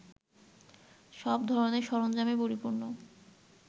সব ধরনের সরঞ্জামে পরিপূর্ণ